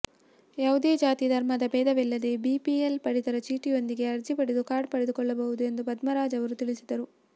ಯಾವುದೇ ಜಾತಿ ಧರ್ಮದ ಭೇದವಿಲ್ಲದೆ ಬಿಪಿಎಲ್ ಪಡಿತರ ಚೀಟಿಯೊಂದಿಗೆ ಅರ್ಜಿ ಪಡೆದು ಕಾರ್ಡ್ ಪಡೆದುಕೊಳ್ಳಬಹುದು ಎಂದು ಪದ್ಮರಾಜ್ ಆವರು ತಿಳಿಸಿದರು